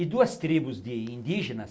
E duas tribos de indígenas,